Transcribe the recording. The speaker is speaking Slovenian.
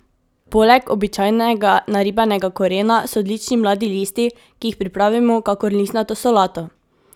Poleg običajnega naribanega korena so odlični mladi listi, ki jih pripravimo kakor listnato solato!